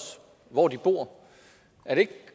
hvor de bor er det ikke